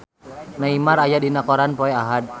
Neymar aya dina koran poe Ahad